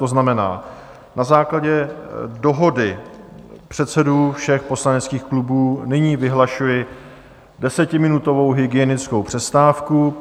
To znamená, na základě dohody předsedů všech poslaneckých klubů nyní vyhlašuji desetiminutovou hygienickou přestávku.